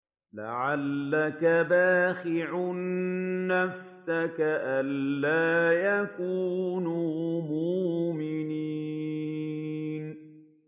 لَعَلَّكَ بَاخِعٌ نَّفْسَكَ أَلَّا يَكُونُوا مُؤْمِنِينَ